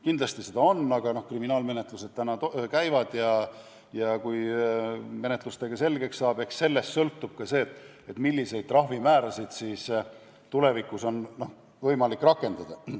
Kindlasti seda on, aga kriminaalmenetlused käivad ja kui see menetlustega selgeks saab, eks siis sellest sõltub ka see, milliseid trahvimäärasid on tulevikus võimalik rakendada.